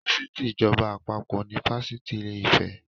Fásitì ìjọba àpapọ̀ ni Fásitì ìlè-ìfẹ́.